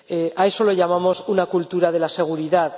A eso lo llamamos cultura de la seguridad.